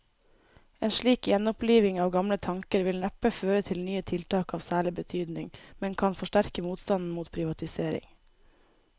En slik gjenoppliving av gamle tanker vil neppe føre til nye tiltak av særlig betydning, men kan forsterke motstanden mot privatisering.